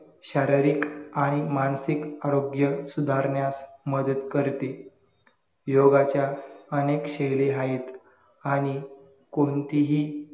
शाररीक आणि मानसिक आरोग्य सुधारण्यास मदत करते योगाच्या अनेक शैली आहेत